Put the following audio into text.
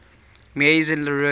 maison la roche